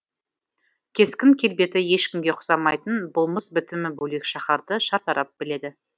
кескін келбеті ешкімге ұқсамайтын болмыс бітімі бөлек шаһарды шартарап біледі